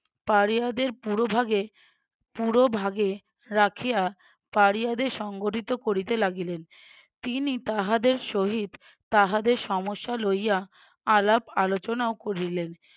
পাড়িয়াদের পুরোভাগে পুরো ভাগে রাখিয়া পাড়িয়াদের সংগঠিত করিতে লাগিলেন তিনি তাহাদের সহিত তাহাদের সমস্যা লইয়া আলাপ আলোচনাও করিলেন।